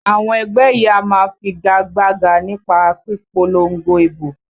Àwọn ẹgbẹ́ yìí á wá figa gbága nípa pípolongo ìbò